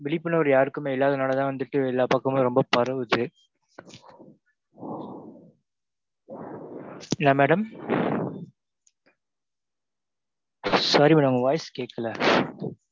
விழிப்புணர்வு யாருக்குமே இல்லாதனால தான் வந்துட்டு எல்லா பக்கமு ரொம்ப பரவுச்சு. என்ன madam? sorry madam உங்க voice கேக்கல,